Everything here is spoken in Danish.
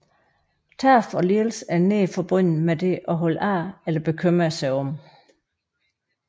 Tab og lidelse er nært forbundet med det at holde af eller bekymre sig om